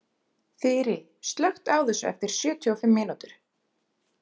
Þyri, slökktu á þessu eftir sjötíu og fimm mínútur.